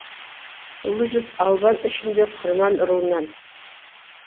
ұлы жүз албан ішінде құрман руынан